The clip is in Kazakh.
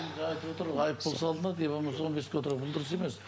жаңа айтып отыр ғой айыппұл салынады не болмаса он беске ол дұрыс емес